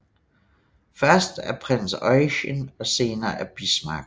Først af Prinz Eugen og lidt senere af Bismarck